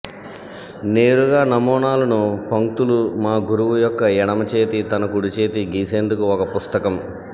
నేరుగా నమూనాలను పంక్తులు మా గురువు యొక్క ఎడమ చేతి తన కుడి చేతి గీసేందుకు ఒక పుస్తకం